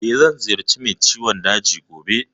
Eh, zan ziyarci mai ciwon daji gobe.